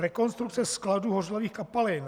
Rekonstrukce skladů hořlavých kapalin.